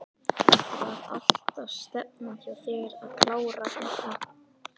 Var alltaf stefnan hjá þér að klára hérna?